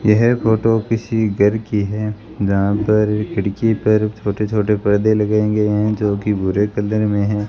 यह फोटो किसी गर की है जहां पर खिड़की पर छोटे छोटे पर्दे लगाये गए हैं जो कि भूरे कलर में हैं।